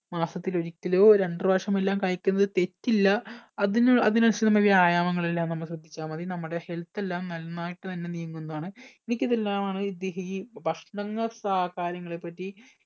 മാസത്തിലൊരിക്കലോ രണ്ട്‌ പ്രവിശ്യമോ എല്ലാം കഴിക്കുന്നതിൽ തെറ്റില്ല അതിന് അതിനനുസരിച്ച വ്യായാമങ്ങൾ എല്ലാം നമ്മൾ ശ്രദ്ധിച്ച മതി നമ്മുടെ health എല്ലാം നന്നായിട്ട് തന്നെ നീങ്ങുന്നതാണ് എനിക്കിതെല്ലാമാണ് ഇത് ഈ ഭക്ഷണങ്ങ ഏർ കാര്യങ്ങളെ പറ്റി